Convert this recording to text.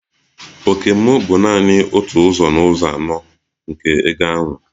Òkè m bụ nanị otu ụzọ n'ụzọ anọ nke ego ahụ.